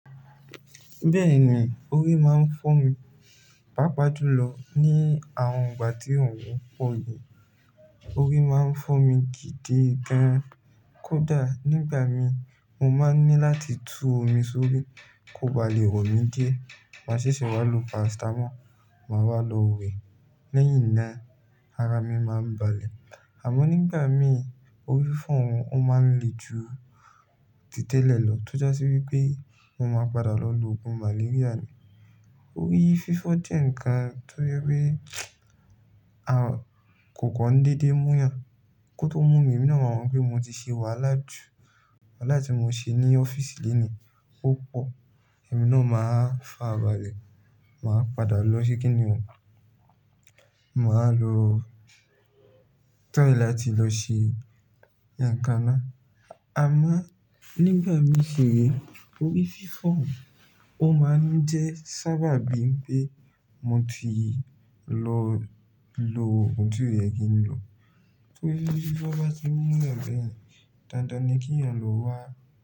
Bẹ́ẹ̀ni, orí máa ń fọ́ mi, pàápàá jùlọ ní àwọn ìgbà tí òòrùn pọ̀ yìí. Orí máa ń fọ́ mi gidi gan. Kódà nígbà mi mo máa ń ní láti tú omi sórí kó ba lè wọ̀ mí dé, máa sì ṣe wá lo paracetamol, màá wá lọ wẹ̀. Lẹ́yìn náà ara mi máa ń balẹ̀. Àmọ́ nígbà mìíràn orí fọ́ un, ó máa ń le ju títẹ́lẹ̀ lọ tó já sí wí pé mo máa padà lọ lo òògùn malaria ni. Orí fífọ́ jẹ́ ǹkan tó yẹ pé a kò kọ́ ń dédé múyàn. Kó tó mú mi, èmi náà máa mọ̀ pé mo ti ṣe wàhálà jù. Wàhálà tí mo ṣe ní ọ́fíìsì lónìí púpọ̀. Ẹ̀mí ni máa fà á balẹ̀. Màá padà lọ ṣe kíni òun, màá lo try láti lọ ṣe ìyànkaná. Àmọ́ nígbà mi ṣi ni, orí fífọ́ òun, ó máa ń jẹ́ sábàbí pé mo ti lọ lo ohun tó yẹ kí n lo. Torí bí bọ́ bá ti múlẹ̀ bẹ́ẹ̀ ni, dandan ni kí èèyàn lọ wá.